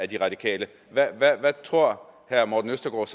de radikale hvad tror herre morten østergaard